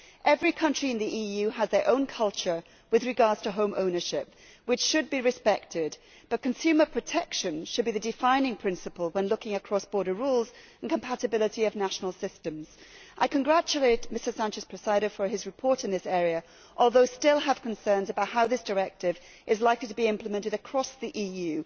Every country in the EU has its own culture as regards home ownership, and that should be respected, but consumer protection should be the defining principle when considering cross border rules and the compatibility of national systems. I congratulate Mr Sánchez Presedo on his report on this issue, although I still have concerns about how the directive is likely to be implemented across the EU.